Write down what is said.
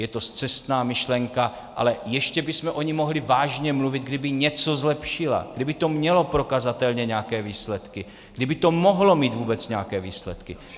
Je to scestná myšlenka, ale ještě bychom o ní mohli vážně mluvit, kdyby něco zlepšila, kdyby to mělo prokazatelně nějaké výsledky, kdyby to mohlo mít vůbec nějaké výsledky.